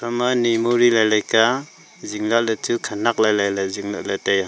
ema memory lai lai ke zing lah ley chu khanak lai lai ley zing lah ley tai a.